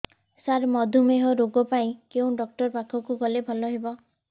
ସାର ମଧୁମେହ ରୋଗ ପାଇଁ କେଉଁ ଡକ୍ଟର ପାଖକୁ ଗଲେ ଭଲ ହେବ